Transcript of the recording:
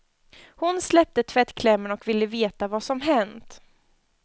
Hon släppte tvättklämmorna och ville veta vad som hänt.